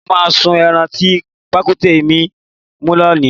Mó máa sun ẹran tí pàkúté mi mú lónìí